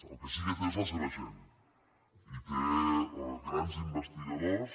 el que sí que té és la seva gent i té grans investigadors